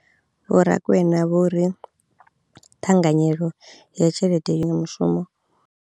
Vho Rakwena vho ri ṱhanganyelo ya tshelede yo mushumo.